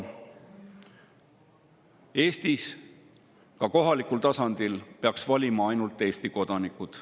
Eestis peaksid ka kohalikul tasandil valima ainult Eesti kodanikud.